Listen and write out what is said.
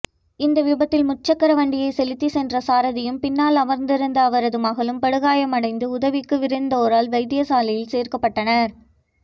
இந்த விபத்தில் முச்சக்கரவண்டியை செலுத்திச் சென்ற சாரதியும் பின்னால் அமர்ந்திருந்த அவரது மகளும் படுகாயமடைந்து உதவிக்கு விரைந்தோரால் வைத்தியசாலையில் சேர்ப்பிக்கப்பட்டனர்